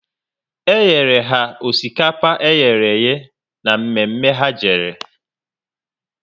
E nyere ha osikapa eherehe ná mme mme ha jere